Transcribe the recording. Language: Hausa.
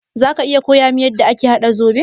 Zaka iya koyamin yanda ake haɗa zoɓo?